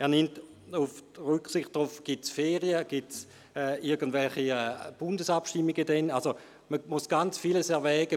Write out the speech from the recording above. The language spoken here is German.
er nimmt darauf Rücksicht, ob Ferien sind oder ob irgendwelche Bundesabstimmungen stattfinden.